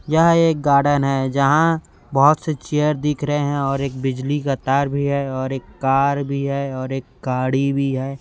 यह एक गार्डन है जहाँ बहोत से चेयर दिख रहे है और एक बिजली का तार भी है और एक कार भी है और एक गाड़ी भी है।